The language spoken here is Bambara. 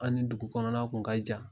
An ni dugu kɔnɔna kun ka jan.